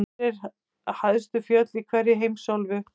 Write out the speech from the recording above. Hver eru hæstu fjöll í hverri heimsálfu?